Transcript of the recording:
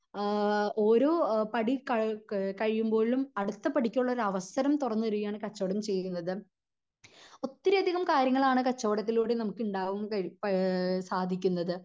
ആഹ് ഓരോ പടി ക കഴിയുമ്പോഴും അടുത്ത പടിക്കുള്ള ഒരു അവസരം തൊറന്ന് തരികയാണ് കച്ചവടം ചെയ്യുന്നത് ഒത്തിരി അധികം കാര്യങ്ങളാണ് കച്ചവടത്തിലൂടെ നമുക്ക് ഇണ്ടാവാൻ ഏഹ് സാധിക്കുന്നത്